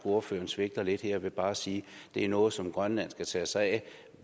ordføreren svigter lidt her ved bare at sige at det er noget som grønland skal tage sig af